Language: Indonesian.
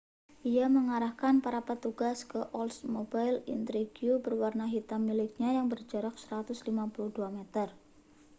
ia mengarahkan para petugas ke oldsmobile intrigue berwarna hitam miliknya yang berjarak 152 meter